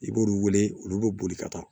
I b'olu wele olu bɛ boli ka taa